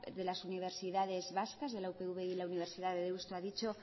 de las universidades vascas de la upv y de la universidad de deusto ha dicho